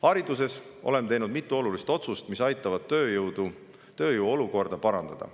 Hariduses oleme teinud mitu olulist otsust, mis aitavad tööjõu olukorda parandada.